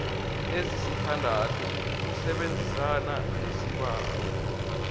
ezisithandathu ukusebenzana nesibawo